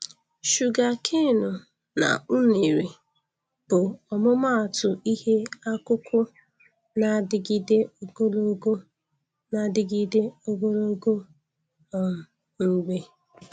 Shugakanu na unere bụ ọmụmaatụ ihe akụkụ na-adịgide ogologo na-adịgide ogologo um mgbe